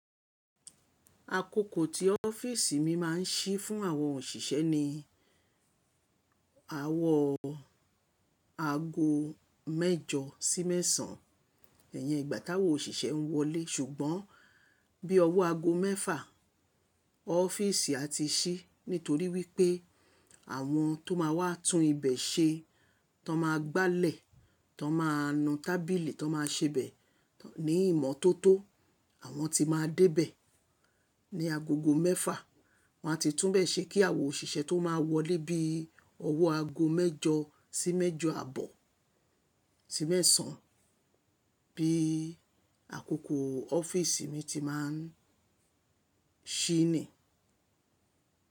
Àkókò tí ọ́fíìsì mi máa ń ṣí fún àwọn òṣìṣẹ́ ni àrọ aago mẹ́jọ sí mẹ́sàn-án. Ẹ̀yẹn ìgbátáwó òṣìṣẹ́ ń wọlé. Ṣùgbọ́n bí ọwọ́ aago mẹ́fà, ọ́fíìsì a ti ṣí. Nítorí wípé àwọn tó máa wá tún ibẹ̀ ṣe, tó máa gbálẹ̀, tó máa nu tábìlì, tó máa ṣe bẹ̀ ní ìmọ́tótó, àwọn ti máa dé bẹ̀ ní agogo mẹ́fà. Wọn a ti tún bẹ̀ ṣe kí àwọn òṣìṣẹ́ tó máa wọlé bí ọwọ́ aago mẹ́jọ sí mẹ́jọ abọ́ sí mẹ́sàn-án. Bí àkókò ọ́fíìsì mi ti máa ń ṣí ni.